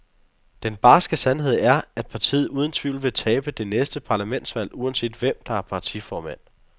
Den barske sandhed er, at partiet uden tvivl vil tabe det næste parlamentsvalg uanset hvem, der er partiformand.